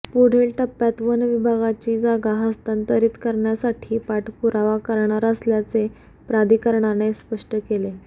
पुढील टप्प्यात वन विभागाची जागा हस्तांतरित करण्यासाठी पाठपुरावा करणार असल्याचे प्राधिकरणाने स्पष्ट केले